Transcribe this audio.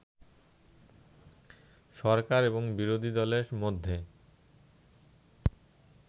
সরকার এবং বিরোধী দলের মধ্যে